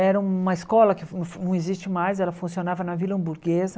Era uma escola que fun não existe mais, ela funcionava na Vila Hamburguesa.